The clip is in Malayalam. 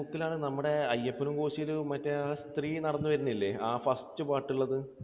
നരസിമുക്കിൽ ആണ് നമ്മുടെ അയ്യപ്പനും കോശി യുടെ മറ്റേ ആ സ്ത്രീ നടന്നു വരുന്നില്ലേ? ആ first പാട്ടിൽ ഉള്ളത്?